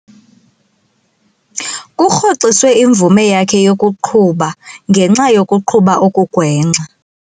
Kurhoxiswe imvume yakhe yokuqhuba ngenxa yokuqhuba okugwenxa.